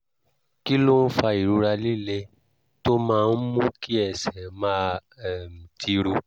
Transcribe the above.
kí ló ń fa ìrora líle tó máa ń mú kí ẹsẹ̀ máa um tiro?